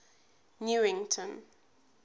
newington